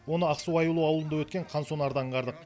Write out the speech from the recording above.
оны ақсу аюлы ауылында өткен қансонарда аңғардық